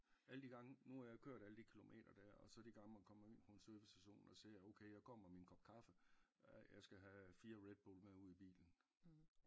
Alle de gange nu har jeg kørt alle de kilometer dér og så de gange man kommer ind på en servicestation og ser okay jeg kommer med en kop kaffe øh jeg skal have 4 Redbull med ud i bilen